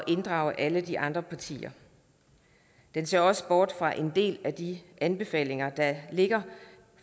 inddrage alle de andre partier den ser også bort fra en del af de anbefalinger der ligger